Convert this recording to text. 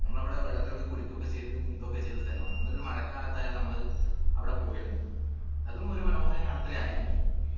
നമ്മളവിടെ വെള്ളത്തില് കുളിക്കുകയോക്കെ ചെയ്തു നീന്തു ഒക്കെ ചെയ്തസ്ഥലാണ് എന്നിട്ട് ഒരു മഴക്കാലത്തായിരുന്നു നമ്മൾ അവിട പോയിരുന്നത് അതും ഒരു മനോഹര യാത്രയായിരുന്നു എനിക്ക്